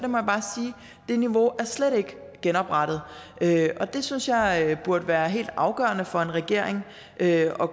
det niveau slet ikke er genoprettet det synes jeg burde være helt afgørende for en regering at